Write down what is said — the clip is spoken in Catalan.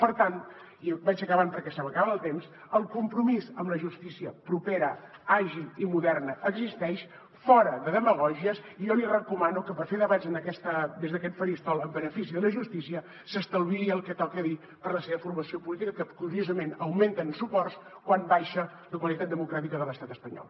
per tant vaig acabant perquè se m’acaba el temps el compromís amb la justícia propera àgil i moderna existeix fora de demagògies i jo li recomano que per fer debats des d’aquest faristol en benefici de la justícia s’estalviï el que toca dir per la seva formació política que curiosament augmenten suports quan baixa la qualitat democràtica de l’estat espanyol